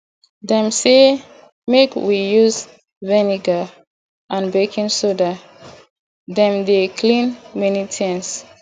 dem sey make we use vinegar and baking soda dem dey clean many tins